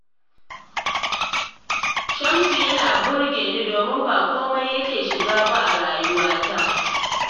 Shamsu yana burge ni domin ba komai yake shiga ba a rayuwata